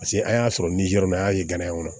Paseke an y'a sɔrɔ ni yɔrɔ min na an y'a ye ganaw kɔnɔ